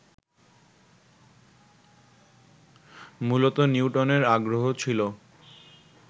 মূলত নিউটনের আগ্রহ ছিল